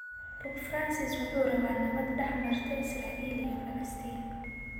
Pope Francis: Wuxuu rabaa nabad dhex marta Israel iyo Falastiin